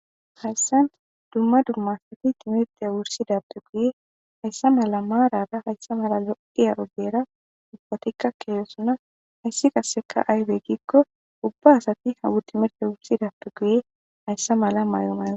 Hayssan dumma dumma timite wurssida addeti hayssa mala maarara hayssa mala lo'iya ogiyara ubbatikka kiyosona. Hayssi qassekka aybe giikko ubba asatikka uttidappe guye hayssa mala mayo mayokko.